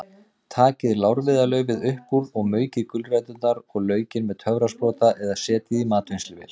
Takið lárviðarlaufið upp úr og maukið gulræturnar og laukinn með töfrasprota eða setjið í matvinnsluvél.